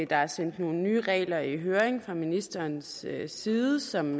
der er sendt nogle nye regler i høring fra ministerens side som